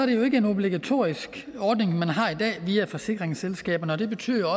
det jo ikke en obligatorisk ordning man har i dag via forsikringsselskaberne og det betyder